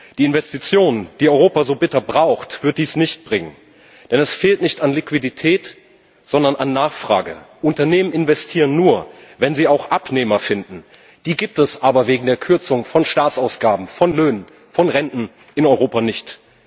Die Investition die Europa so bitter braucht wird dies nicht bringen, denn es fehlt nicht an Liquidität, sondern an Nachfrage. Unternehmen investieren nur, wenn sie auch Abnehmer finden. Die gibt es aber wegen der Kürzung von Staatsausgaben, von Löhnen, von Renten in Europa nicht.